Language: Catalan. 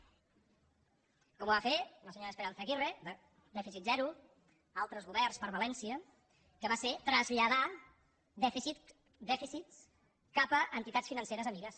com ho va fer la senyora esperanza aguirre dèficit zero altres governs per valència que va ser traslladar dèficit dèficits cap a entitats financeres amigues